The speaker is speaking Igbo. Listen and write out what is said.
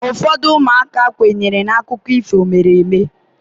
ụfọdụ ụmụaka kwenyere na akụkọ ifo mere eme